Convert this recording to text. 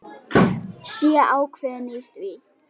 Sé ákveðin í því.